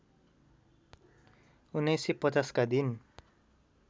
१९५० का दिन